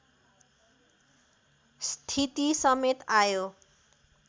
स्थिति समेत आयो